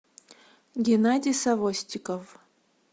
геннадий савостиков